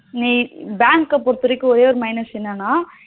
நீ bank பொறுத்த வரைக்கும் ஒரே ஒரு minus ஏன்னா